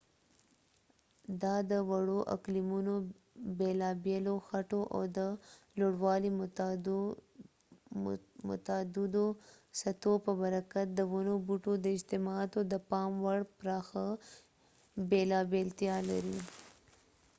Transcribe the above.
دا د وړو اقلیمونو بېلابېلو خټو او د لوړوالي متعددو سطحو په برکت د ونو بوټو د اجتماعاتو د پام وړ پراخه بېلابېلتیا لري